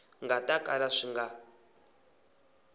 nga ta kala swi nga